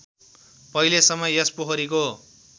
पहिलेसम्म यस पोखरीको